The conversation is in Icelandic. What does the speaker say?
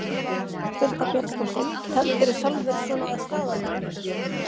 Birta Björnsdóttir: Teflirðu sjálfur svona að staðaldri?